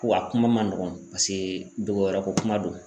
Wa a kuma ma nɔgɔn paseke dogo yɔrɔ ko kuma do.